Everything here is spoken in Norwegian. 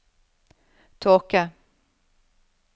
tåke